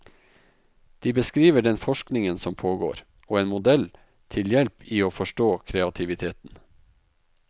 De beskriver den forskningen som pågår, og en modell til hjelp i å forstå kreativiteten.